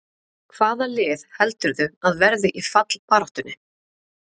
Hvaða lið heldurðu að verði í fallbaráttunni?